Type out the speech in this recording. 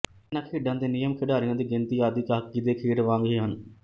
ਇਨ੍ਹਾਂਂ ਖੇਡਾਂ ਦੇ ਨੀਯਮ ਖਿਡਾਰੀਆਂ ਦੀ ਗਿਣਤੀ ਆਦਿ ਹਾਕੀ ਦੇ ਖੇਡ ਵਾਂਗ ਹੀ ਹਨ